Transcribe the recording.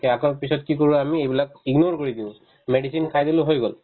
আকৌ পিছত কি কৰো আমি এইবিলাক ignore কৰি দিও medicine খাই দিলো হৈ গ'ল